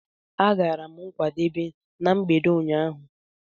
Agara m nkwadebe na mgbede ụnyaahụ.